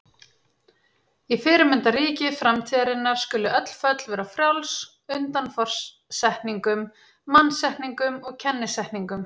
Í fyrirmyndarríki framtíðarinnar skulu öll föll vera frjáls undan forsetningum, mannasetningum og kennisetningum.